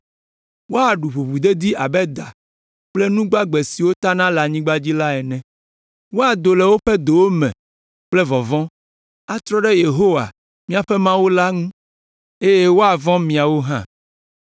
Woaɖu ʋuʋudedi abe da kple nu gbagbe siwo tana le anyigba la ene. Woado le woƒe dowo me kple vɔvɔ̃, atrɔ ɖe Yehowa, míaƒe Mawu la ŋu eye woavɔ̃ miawo hã.